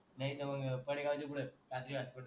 नाय तर मंग पाडेगाव च्या पुढे काद्री hospital